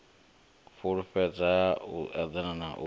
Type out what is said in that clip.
fhulufhedzea u eḓana u sa